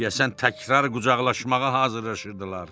Deyəsən təkrar qucaqlaşmağa hazırlaşırdılar.